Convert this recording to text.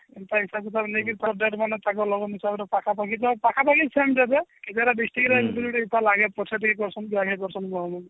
ହେନ୍ତା ତାକୁ ନେଇକି ତାକୁ date ବନା ତାକୁ ଲବଙ୍ଗ ଚାଉଲ ପାଖାପାଖି ତ ପାଖାପାଖି same ଦେବେ ତାର district ରହିବ ତାର ପଛ କରୁଛନ